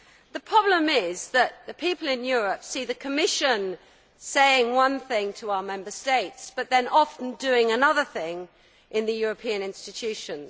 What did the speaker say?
The problem is that the people in Europe see the Commission saying one thing to our Member States but then often doing another thing in the European institutions.